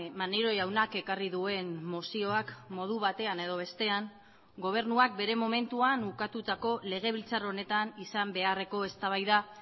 maneiro jaunak ekarri duen mozioak modu batean edo bestean gobernuak bere momentuan ukatutako legebiltzar honetan izan beharreko eztabaida